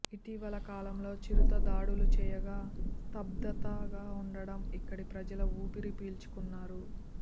ఇటీవల కాలంలో చిరుత దాడులు చేయక స్తబ్ధతగా ఉండడం ఇక్కడి ప్రజలు ఊపిరి పీల్చుకున్నారు